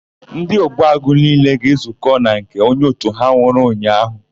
Ndị Ogbuagụ niile ga-ezukọ na nke onye òtù ha nwụrụ ụnyaahụ.